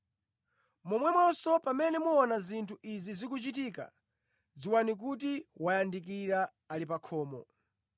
Momwenso pamene muona zinthu izi zikuchitika, dziwani kuti wayandikira, ali pa khomo.